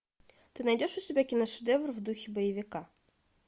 ты найдешь у себя киношедевр в духе боевика